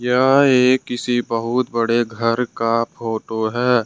यह एक किसी बहुत बड़े घर का फोटो है।